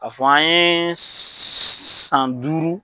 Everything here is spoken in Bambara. K'a fɔ an ye san duuru